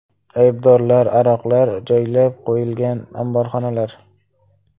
Aybdorlar, aroqlar joylab qo‘yilgan omborxonalar.